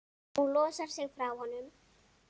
Hún losar sig frá honum.